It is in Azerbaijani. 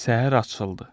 Səhər açıldı.